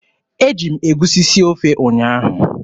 Eji m egusi sie ofe ụnyaahụ.